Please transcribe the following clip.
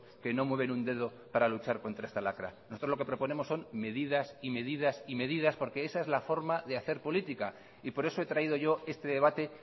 que no mueven un dedo para luchar contra esta lacra nosotros lo que proponemos son medidas y medidas porque esa es la forma de hacer política por eso he traído yo este debate